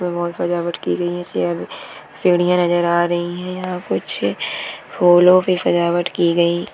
की बहत सजावट की गई है चेयर सिंडिया नजर आ रही है। यहाँ कुछ फूलों के सजावट की गई--